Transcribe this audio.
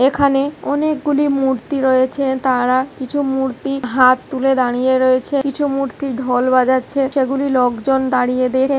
এখানে অনেকগুলি মূর্তি রয়েছে তারা কিছু মূর্তির হাত তুলে দাঁড়িয়ে রয়েছে কিছু মূর্তি ঢোল বাজাচ্ছে সেগুলি লোকজন দাঁড়িয়ে দেখ--